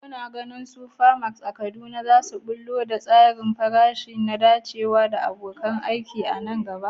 Kuna ganin supermarts a Kaduna za su ɓullo da tsarin farashi mai dacewa da abokan ciniki nan gaba?